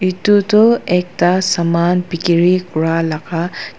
etu tuh ekta saman bekeri kura laga.